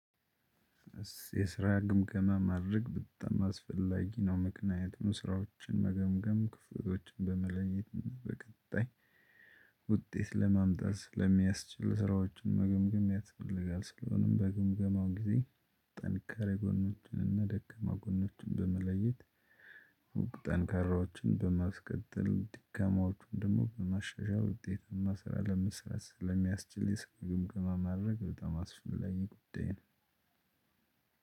የስራ ግምገማ ማድረግ በጣም አስፈላጊ ነው ምክንያቱም ስራዎችን መገምገም ክፍያዎችን በመለየትና በቀጣይ ውጤት ለማምጣት ስለሚያስችል ስራዎችን መገምገም ያስፈልጋል። ስለሆነም በግምገማው ጊዜ ጠንካራ ጎኖችን እና ደካማ ጎኖችን በመለየት። ጠንካራዎችን በማስቀጠል ደካማዎችን ደግሞ በማሻሻል ውጤታማ ስራ ለመስራት ስለሚያስችል የስራ ግምገማ ማድርግ በጣም አስፈላጊ ጉዳይ ነው።